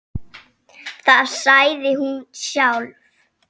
Það sagði hún sjálf.